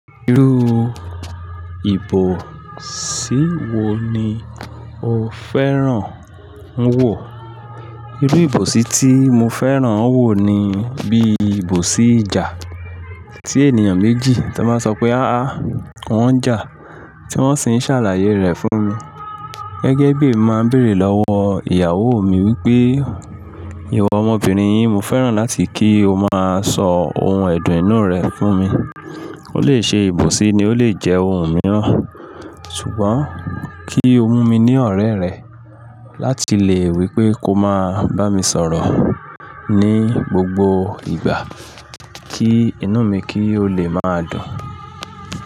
Irú ìbòsí wo ni o fẹ́ràn n wò? Irú ìbòsí tí mo fẹ́ràn wò ni bí ìbòsí ìjà. Tí ènìyàn méjì tí wọ́n bá sọ pé "aáá" wọ́n ń jà, tí wọ́n sì ń ṣàlàyé rẹ̀ fún mi. Gẹ́gẹ́ bí èmi máa ń béèrè lọ́wọ́ ìyàwó mi wípé "ìwọ ọmọbìnrin yín, mo fẹ́ràn láti kí o máa sọ ohun ẹ̀dọ̀ inú rẹ fún mi." Ó lè ṣe ìbòsí ni ó lè jẹ́ ohun mìíràn. Ṣùgbọ́n kí o mú mi ní ọ̀rẹ́ rẹ láti lè wípé ko máa bá mi sọ̀rọ̀ ní gbogbo ìgbà kí inú mi kí ó lè máa dùn.